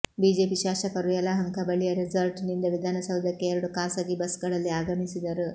BJP ಶಾಸಕರು ಯಲಹಂಕ ಬಳಿಯ ರೆಸಾರ್ಟ್ನಿಂದ ವಿಧಾನಸೌಧಕ್ಕೆ ಎರಡು ಖಾಸಗಿ ಬಸ್ಗಳಲ್ಲಿ ಆಗಮಿಸಿದರು